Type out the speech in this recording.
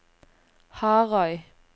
Harøy